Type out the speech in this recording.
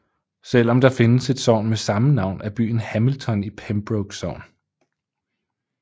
Selvom der findes et sogn med samme navn er byen Hamilton i Pembroke Sogn